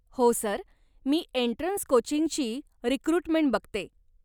हो सर, मी एन्ट्रन्स कोचिंगची रिक्रुटमेंट बघते.